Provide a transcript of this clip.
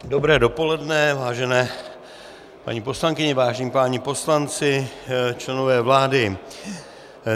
Dobré dopoledne, vážené paní poslankyně, vážení páni poslanci, členové vlády.